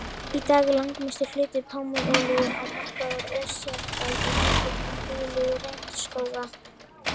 Í dag er langmestur hluti pálmaolíu á markaðnum ósjálfbær og valdur að eyðingu regnskóga.